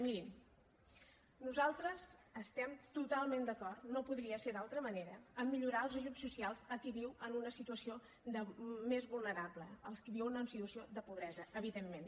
mirin nosaltres estem totalment d’acord no podria ser d’altra manera a millorar els ajuts socials a qui viu en una situació més vulnerable als qui viuen en situació de pobresa evidentment